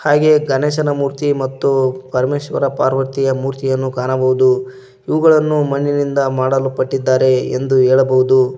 ಹಾಗೆ ಗಣೇಶನ ಮೂರ್ತಿ ಮತ್ತು ಪರಮೇಶ್ವರ ಪಾರ್ವತಿಯ ಮೂರ್ತಿಯನ್ನು ಕಾಣಬಹುದು ಇವುಗಳನ್ನು ಮಣ್ಣಿನಿಂದ ಮಾಡಲ್ಪಟ್ಟಿದ್ದಾರೆ ಎಂದು ಹೇಳಬಹುದು.